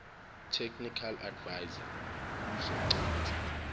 technical adviser kuzochitha